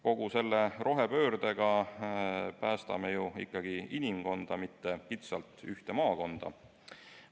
Kogu selle rohepöördega päästame ju ikkagi inimkonda, mitte kitsalt ühte maakonda.